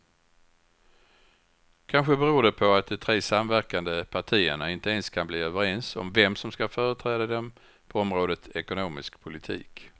Kanske beror det på att de tre samverkande partierna inte ens kan bli överens om vem som ska företräda dem på området ekonomisk politik.